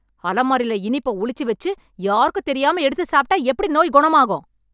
அலமாரில இனிப்ப ஒளிச்சு வெச்சு, யாருக்கும் தெரியாம எடுத்து சாப்ட்டா, எப்டி நோய் கொணமாகும்...